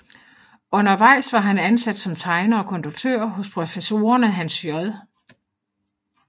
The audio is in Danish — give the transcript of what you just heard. Undervejs var han ansat som tegner og konduktør hos professorerne Hans J